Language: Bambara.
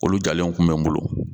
Olu jalen tun bɛ n bolo